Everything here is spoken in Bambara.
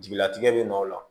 Jigilatigɛ bɛ nɔ o la